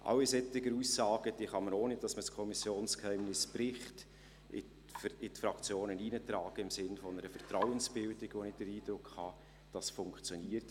Alle solchen Aussagen kann man, ohne dass man das Kommissionsgeheimnis bricht, in die Fraktionen hineintragen, im Sinne einer Vertrauensbildung, wobei ich den Eindruck habe, dies funktioniere.